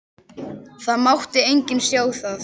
Það mátti enginn sjá það.